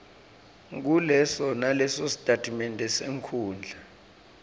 nguleso nalesositatimende senkhundla